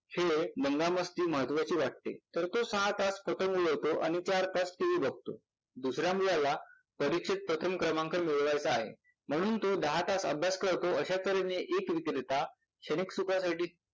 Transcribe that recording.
दंगामस्ती महत्वाची वाटते तर तो सहा तास पतंग उडवतो आणि चार तास TV बघतो. दुसऱ्या मुलाला परीक्षेत प्रथम क्रमांक मिळवायचा आहे म्हणून तो दहा तास अभ्यास करतो, अशा तऱ्हेने एक विक्रेता